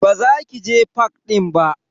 Ba za ki je fak din ba.